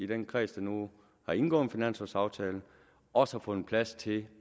den kreds der nu har indgået en finanslovaftale også har fundet plads til